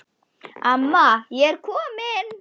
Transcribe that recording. Amma ég er komin